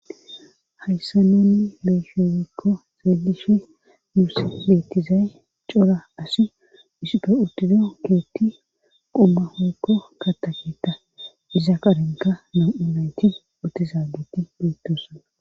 hayssa nunni beeshewekko zaallishi nuus bettizay cora asi isupfe urtido keetti qumma hookko kataketa iza qarenka na yunayti otizaageti beettosana